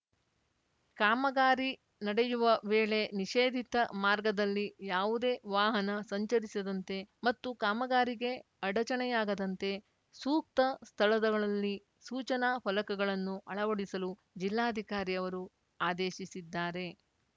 ಕಾಮಗಾರಿ ನಡೆಯುವ ವೇಳೆ ನಿಷೇಧಿತ ಮಾರ್ಗದಲ್ಲಿ ಯಾವುದೇ ವಾಹನ ಸಂಚರಿಸದಂತೆ ಮತ್ತು ಕಾಮಗಾರಿಗೆ ಅಡಚಣೆಯಾಗದಂತೆ ಸೂಕ್ತ ಸ್ಥಳಗಳಲ್ಲಿ ಸೂಚನಾ ಫಲಕಗಳನ್ನು ಅಳವಡಿಸಲು ಜಿಲ್ಲಾಧಿಕಾರಿ ಅವರು ಆದೇಶಿಸಿದ್ದಾರೆ